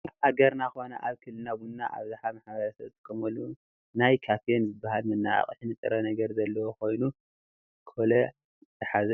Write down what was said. ኣብ ሃገርና ኾነ ኣብ ክልልና ቡና ኣብዝሓ ማ/ሰብ ዝጥቀመሉ ናይ ካፊን ዝባሃል መነቓቕሒ ንጥረ ነገር ዘለዎ ኾይኑ ኮላጅ ዝሓዘ እዩ፡፡